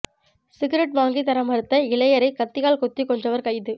cigarette வாங்கித் தர மறுத்த இளையரை கத்தியால் குத்திக் கொன்றவர் கைது